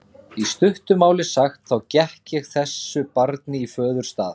Í stuttu máli sagt, þá gekk ég þessu barni í föðurstað.